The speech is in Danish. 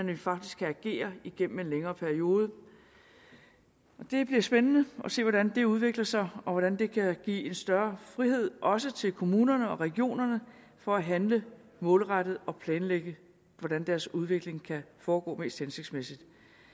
vi faktisk kan agere igennem en længere periode det bliver spændende at se hvordan det udvikler sig og hvordan det kan give en større frihed også til kommunerne og regionerne for at handle målrettet og planlægge hvordan deres udvikling kan foregå mest hensigtsmæssigt